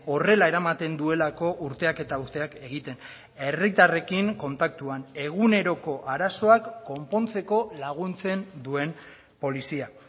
horrela eramaten duelako urteak eta urteak egiten herritarrekin kontaktuan eguneroko arazoak konpontzeko laguntzen duen polizia